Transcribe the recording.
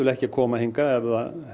ekki að koma hingað ef það